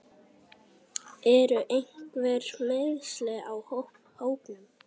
Eru einhver meiðsli á hópnum?